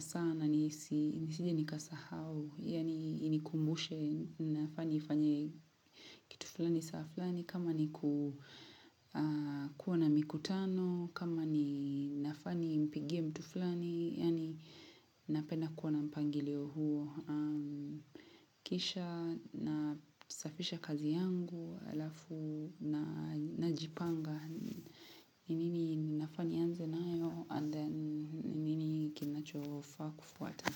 sana nisije nikasahau, yaani inikumbushe, ninafaa nifanye kitu flani saa flani, kama ni ku kuwa na mikutano, kama ni nafaa nimpigie mtu flani, yaani napenda kuwa mpangilio huo Kisha nasafisha kazi yangu halafu na najipanga ni nini ninafaa nianze nayo and then nini kinachofaa kufuata.